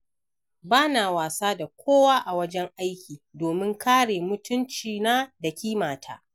Ba na wasa da kowa a wajen aiki, domin kare mutunci na da ƙimata